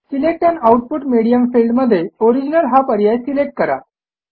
select an output medium field मध्ये original हा पर्याय सिलेक्ट करा